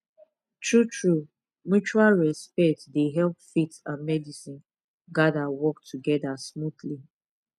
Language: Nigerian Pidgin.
true true mutual respect dey help faith and medicine gather work together smoothly